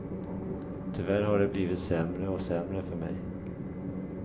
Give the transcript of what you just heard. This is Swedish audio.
Tyvärr har det blivit sämre och sämre för mig.